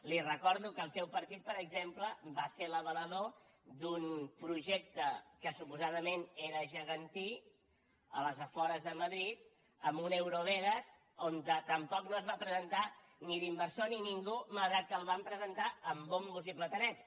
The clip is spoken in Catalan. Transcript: li recordo que el seu partit per exemple va ser l’avalador d’un projecte que suposadament era gegantí als afores de madrid amb un eurovegas on tampoc no es va presentar ni l’inversor ni ningú malgrat que el van presentar amb bombo i platerets